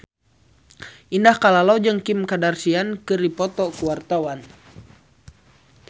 Indah Kalalo jeung Kim Kardashian keur dipoto ku wartawan